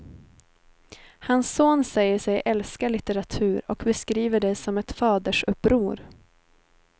Hans son säger sig älska litteratur och beskriver det som ett fadersuppror.